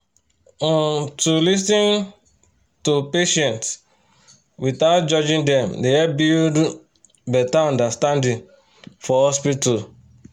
um to um lis ten to patients without judging dem dey help build um better understanding for hospital